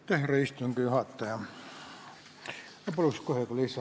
Härra istungi juhataja, ma paluks kohe ka lisaaega.